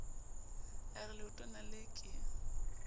a re leotwana lee ke